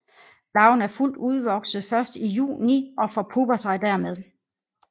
Larven er fuldt udvokset først i juni og forpupper sig dermed